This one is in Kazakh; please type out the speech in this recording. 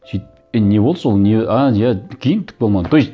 сөйтіп е не болды сол не а иә кейін түк болмады то есть